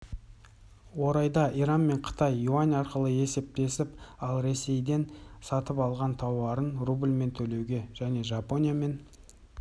орайда иран қытаймен юань арқылы есептесіп ал ресейден сатып алған тауарын рубльмен төлеуде және жапониямен